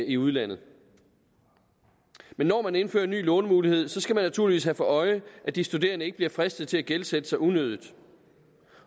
i udlandet men når man indfører en ny lånemulighed skal man naturligvis have for øje at de studerende ikke bliver fristet til at gældsætte sig unødigt